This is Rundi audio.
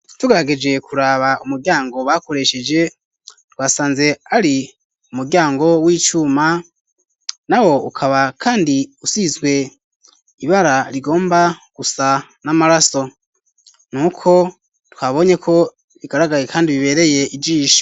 Tugerageje kuraba umuryango bakoresheje twasanze ari umuryango w'icuma, nawo ukaba kandi usizwe ibara rigomba gusa n'amaraso, nuko twabonye ko bigaragaye kandi bibereye ijisho.